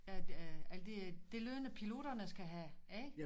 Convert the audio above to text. At øh alt det det løn piloterne skal have ikke